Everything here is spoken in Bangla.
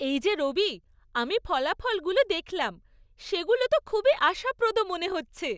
এই যে রবি, আমি ফলাফলগুলো দেখলাম, সেগুলো তো খুবই আশাপ্রদ মনে হচ্ছে।